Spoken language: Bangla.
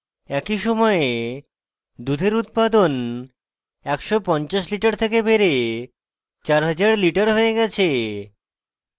একই সময়ে দুধের উৎপাদন 150 litres থেকে বেড়ে 4000 litres হয়ে গেছে